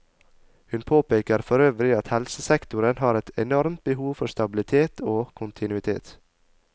Hun påpeker for øvrig at helsesektoren har et enormt behov for stabilitet og kontinuitet.